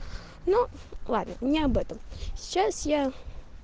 ну ладно не об этом сейчас я